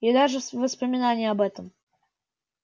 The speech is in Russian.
и даже воспоминание об этом